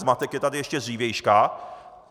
Zmatek je tady ještě z dřívějška.